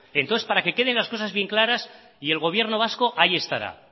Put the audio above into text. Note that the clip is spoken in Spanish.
entonces para que queden las cosas bien claras y el gobierno vasco ahí estará